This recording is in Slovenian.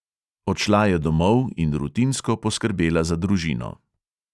Odšla je domov in rutinsko poskrbela za družino.